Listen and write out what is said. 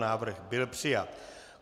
Návrh byl přijat.